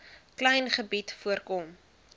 klein gebied voorkom